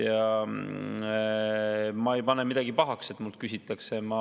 Ja ma ei pane midagi pahaks, et mult küsitakse.